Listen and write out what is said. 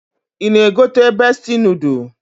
I ga egote Bestie nodul.